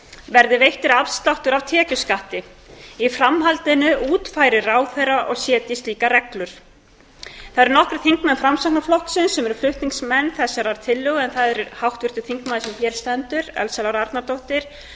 verði veittur afsláttur af tekjuskatti í framhaldinu útfæri ráðherra og setji slíkar reglur það eru nokkrir þingmenn framsóknarflokksins sem eru flutningsmenn þessarar tillögu en það eru háttvirtir þingmenn sem hér stendur elsa lára arnardóttir